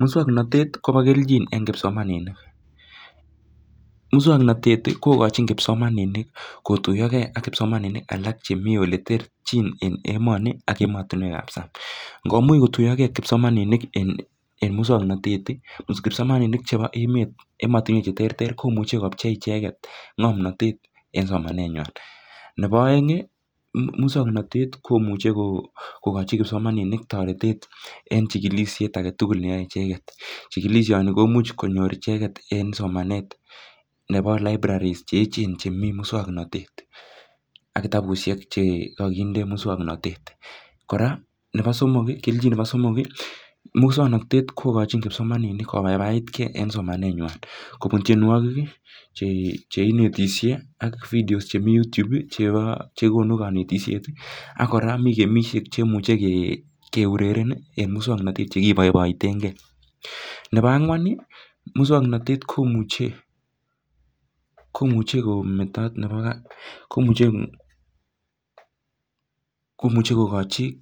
Musuonoktet kopo kelchin en kipsomaninik. Musuonoktet kogochin kipsomaninik kotuyoge ak kipsomaninik alak chemi oleterchin en emoni ak emotinwekap sang'. Ngomuch kotuyoge kipsomaninik en musuoknotet kipsomaninik chepo emotinwekap cheterter kopchei icheget ng'omnatet en somanenywan, nebo oeng', musuoknatet komuche kogochi kipsomaninik toretet en chigilisiet agetugul neyoe icheget. Chigilisioni komuch konyor icheget en somanet nepo libraries cheechen chemi musuoknatet ak kitabusiek che kakinde musuoknotet, kora, nepo somok, kelchin nepo somok, musuoknotet kogochin kipsomaninik kobaibaitge en somanenywan kopun tyenwogik che inetisie ak videos chemi Youtube chepo chekonu konetisiet ak kora mi gemisiek che imuche keureren en musuoknotet chekibaibaitenge. Nepo ang'wan, musuoknotet komuche komuche komuche kogochi